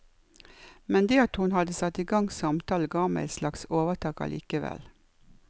Men det at hun hadde satt i gang samtalen ga meg et slags overtak allikevel.